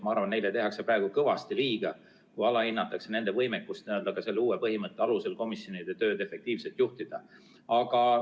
Ma arvan, et neile tehakse praegu kõvasti liiga, kui alahinnatakse nende võimekust selle uue põhimõtte alusel komisjonide tööd efektiivselt juhtida.